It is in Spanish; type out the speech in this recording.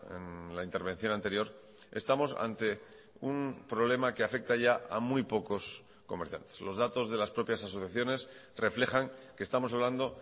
en la intervención anterior estamos ante un problema que afecta ya a muy pocos comerciantes los datos de las propias asociaciones reflejan que estamos hablando